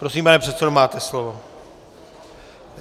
Prosím, pane předsedo, máte slovo.